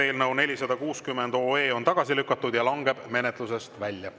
Eelnõu 460 on tagasi lükatud ja langeb menetlusest välja.